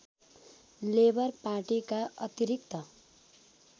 labour पार्टीका अतिरिक्त